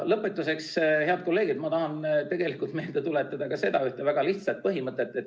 Lõpetuseks, head kolleegid, ma tahan meelde tuletada ühte väga lihtsat põhimõtet.